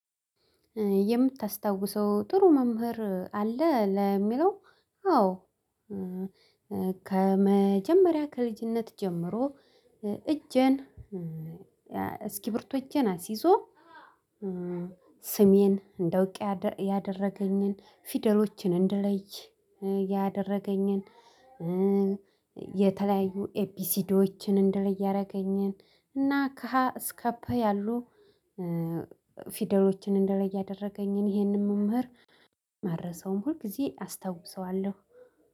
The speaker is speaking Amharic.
የምታስታውሰው ጥሩ መምህር አለ ለሚለው? አዎ ከመጀመሪያ ከልጅነት ጀምሮ እጄን እስክርቢቶ እጄን አስይዞ ስሜን እንደውቅ ያደረገኝን ፊደሎችን እንደለይ ያደረገኝን። የተለያዩ ኤቢሲዲወችን እንድለይ ያደረገኝን እና ካሃ እስከፕ ያሉ ፊደሎችን እንድለይ ያደረገኝን ይሄንን መምህር አረሳውም ሁልጊዜ አስታውሰዋለሁ።